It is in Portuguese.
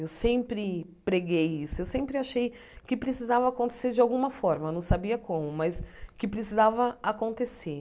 Eu sempre preguei isso, eu sempre achei que precisava acontecer de alguma forma, não sabia como, mas que precisava acontecer.